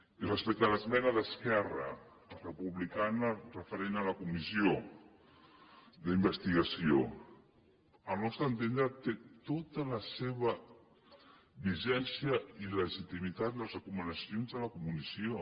i respecte a l’esmena d’esquerra republicana referent a la comissió d’investigació al nostre entendre tenen tota la seva vigència i legitimitat les recomanacions de la comissió